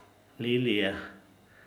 Lilije.